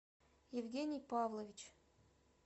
евгений павлович